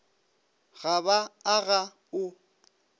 ga ba a ga o